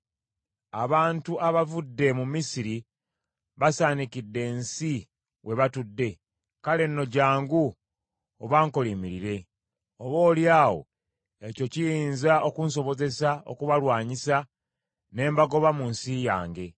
‘Abantu abavudde mu Misiri basaanikidde ensi we batudde. Kale nno jjangu obankolimirire. Oboolyawo ekyo kiyinza okunsobozesa okubalwanyisa ne mbagoba mu nsi yange.’ ”